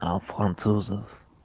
а французов